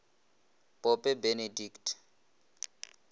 pope benedict